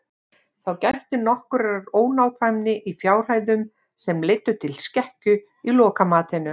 Þá gætti nokkurrar ónákvæmni í fjárhæðum sem leiddu til skekkju í lokamatinu.